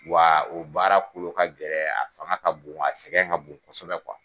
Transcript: Wa o baara kolo ka gɛlɛ a fanga ka bon a sɛgɛn ka bon kosɛbɛ